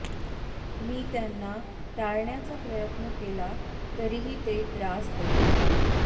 मी त्यांना टाळण्याचा प्रयत्न केला तरीही ते त्रास देतात